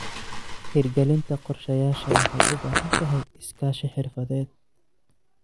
Hirgelinta qorshayaasha waxay u baahan tahay iskaashi xirfadeed.